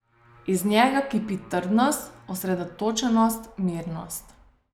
Iz njega kipi trdnost, osredotočenost, mirnost.